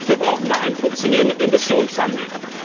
Dafür brauchen wir einen funktionierenden Emissionshandel.